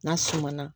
N'a suma na